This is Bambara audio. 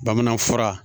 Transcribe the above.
Bamanan fura